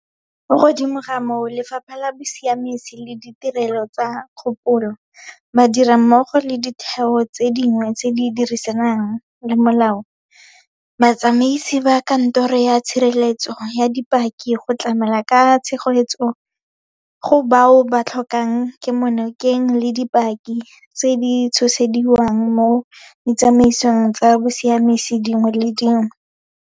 Mo godimo ga moo, Lefapha la Bosiamisi le Ditirelo tsa Kgopololo, ba dira mmogo le ditheo tse dingwe tse di dirisang molao, batsamaisi ba Kantoro ya Tshireletso ya Dipaki go tlamela ka tshegetso go bao ba tlhokang kemonokeng le dipaki tse di tshosediwang mo ditsamaisong tsa bosiamisi dingwe le dingwe.